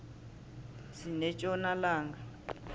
sinetjona langa